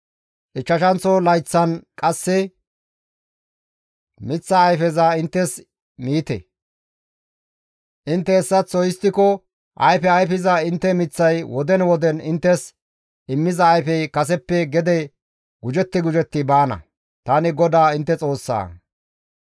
Ichchashanththo layththan qasse miththaa ayfeza inttes miite; intte hessaththo histtiko ayfe ayfiza intte miththay woden woden inttes immiza ayfey kaseppe gede gujetti gujetti baana; tani GODAA intte Xoossaa.